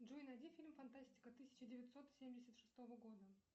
джой найди фильм фантастика тысяча девятьсот семьдесят шестого года